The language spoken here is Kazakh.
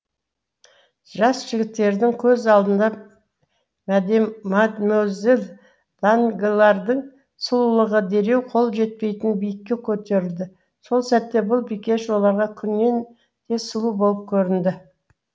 жас жігіттердің көз алдында мадемуазель данглардың сұлулығы дереу қол жетпейтін биікке көтерілді сол сәтте бұл бикеш оларға күннен де сұлу болып көрінді